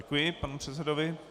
Děkuji panu předsedovi.